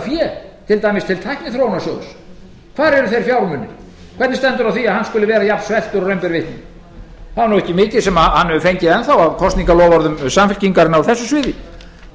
fé til dæmis til tækniþróunarsjóðs hvar eru þeir fjármunir hvernig stendur á því að hann skuli vera jafnsveltur og raun ber vitni það er nú ekki mikið sem hann hefur fengið enn þá af kosningaloforðum samfylkingarinnar á þessu sviði